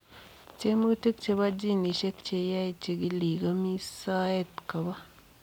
Tiemutik chepo ginisiek cheyae chikiliik komii soet kopoo